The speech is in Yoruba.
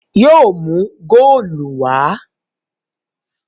Yóò mú góòlù wá!